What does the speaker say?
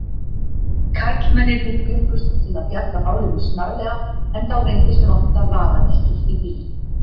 Karlmennirnir bjuggust til að bjarga málinu snarlega en þá reyndist vanta varadekkið í bílinn.